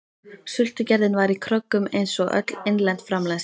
Sultugerðin var í kröggum einsog öll innlend framleiðsla.